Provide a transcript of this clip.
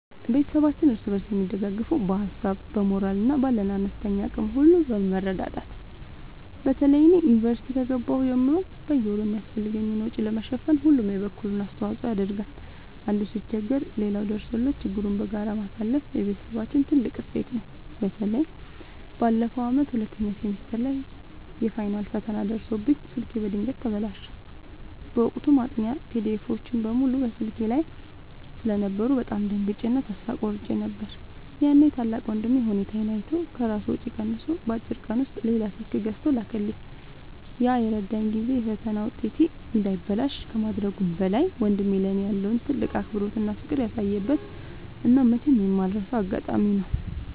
ቤተሰባችን እርስ በርስ የሚደጋገፈው በሀሳብ፣ በሞራል እና ባለን አነስተኛ አቅም ሁሉ በመረዳዳት ነው። በተለይ እኔ ዩኒቨርሲቲ ከገባሁ ጀምሮ በየወሩ የሚያስፈልገኝን ወጪ ለመሸፈን ሁሉም የበኩሉን አስተዋጽኦ ያደርጋል። አንዱ ሲቸገር ሌላው ደርሶለት ችግሩን በጋራ ማለፍ የቤተሰባችን ትልቅ እሴት ነው። በተለይ ባለፈው ዓመት ሁለተኛ ሴሚስተር ላይ የፋይናል ፈተና ደርሶብኝ ስልኬ በድንገት ተበላሸ። በወቅቱ ማጥኛ ፒዲኤፎች (PDFs) በሙሉ ስልኬ ላይ ስለነበሩ በጣም ደንግጬ እና ተስፋ ቆርጬ ነበር። ያኔ ታላቅ ወንድሜ ሁኔታዬን አይቶ ከራሱ ወጪ ቀንሶ በአጭር ቀን ውስጥ ሌላ ስልክ ገዝቶ ላከልኝ። ያ የረዳኝ ጊዜ የፈተና ውጤቴ እንዳይበላሽ ከማድረጉም በላይ፣ ወንድሜ ለእኔ ያለውን ትልቅ አክብሮትና ፍቅር ያሳየበት እና መቼም የማልረሳው አጋጣሚ ነው።